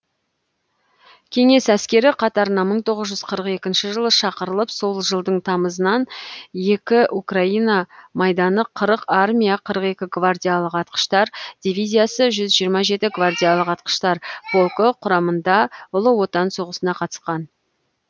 кеңес әскері қатарына мың тоғыз жүз қырық екінші жылы шақырылып сол жылдың тамызынан екі украина майданы қырық армия қырық екі гвардиялық атқыштар дивизиясы жүз жиырма жеті гвардиялық атқыштар полкі құрамында ұлы отан соғысына қатыскан